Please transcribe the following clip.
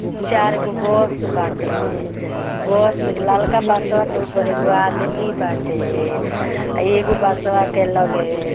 चार गो बस बाटे बस ललका बसवा के ऊपर एगो आदमी बाटे अ एगो बसवा के लगे--